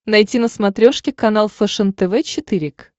найти на смотрешке канал фэшен тв четыре к